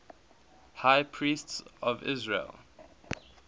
high priests of israel